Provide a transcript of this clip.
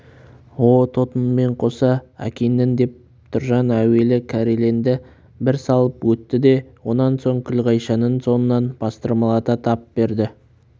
о тотыңмен қоса әкеңнің деп тұржан әуелі кәреленді бір салып өтті де онан соң күлғайшаның соңынан бастырмалата тап берді